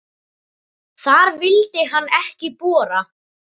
Þar vildi hann ekki bora.